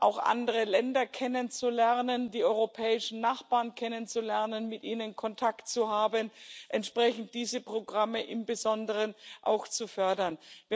auch andere Länder kennenzulernen, die europäischen Nachbarn kennenzulernen, mit ihnen Kontakt zu haben, entsprechend diese Programme im Besonderen auch fördern müssen.